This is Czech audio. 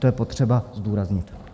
To je potřeba zdůraznit.